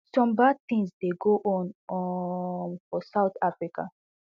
some bad tings dey go on um for south africa